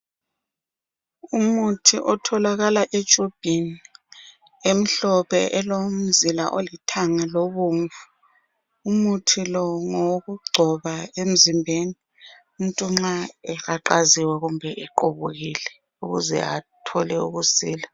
Umuthi otholakala etshubhini emhlophe elomzila olithanga lobomvu, umuthi lo ngowokugcoba emzimbeni umuntu nxa ehaqaziwe kumbe equbukile ukuze athole ukusila.